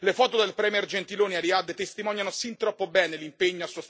Il mio paese, l'Italia, figura purtroppo nel novero dei mercanti di morte.